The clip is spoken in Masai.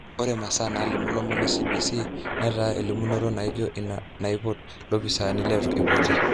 Ore masaa nalimu lomon e CBS netaa elimunoto naijo ina eipot lopisani letu eipoti.